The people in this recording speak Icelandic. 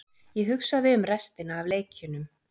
Ég hugsaði um restina af leikjunum.